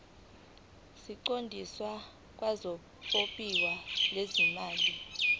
siqondiswe kwabophiko lwezimali